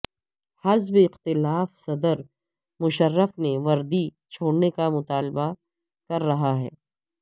حزب اختلاف صدر مشرف سے وردی چھوڑنے کا مطالبہ کر رہا ہے